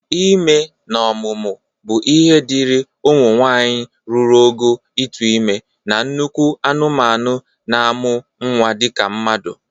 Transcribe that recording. Ime na ọmụmụ bụ ihe dịri ụmụ nwaanyị ruru ogo ịtụ ime na nnekwu ụmụ anụmanụ na-amụ nnwa dịka mmadụ